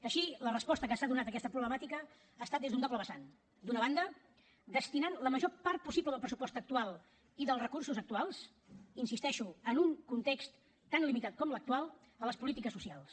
així la resposta que s’ha donat a aquesta problemàtica ha estat des d’un doble vessant d’una banda destinant la major part possible del pressupost actual i dels recursos actuals hi insisteixo en un context tan limitat com l’actual a les polítiques socials